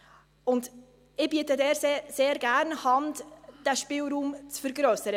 – Ich biete sehr gerne Hand, um diesen Spielraum zu vergrössern.